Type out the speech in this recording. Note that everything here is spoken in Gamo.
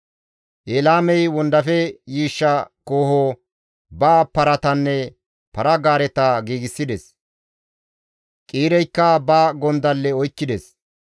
Elaamey wondafe yiishsha kooho, ba paratanne para-gaareta giigsides; Qiireykka ba gondalle oykkides.